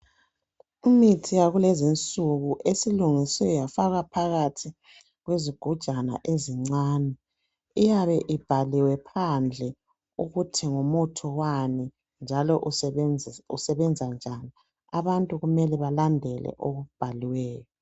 umithi yakulezi insuku esilungiswe yafakwa phakathi kwesigujana ezincinyane iyabe ibhaliwe phandle ukuthi ngumuthi wani lokuthi usebenzani abantu kumele balandele okubhaliweyo